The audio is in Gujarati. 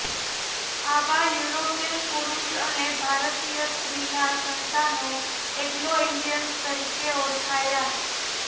આવા યુરોપિયન પુરુષ અને ભારતીય સ્ત્રીનાં સંતાનો એંગ્લો ઈન્ડિયન તરીકે ઓળખાયા